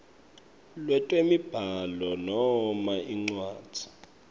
lwetemibhalo noma incwadzi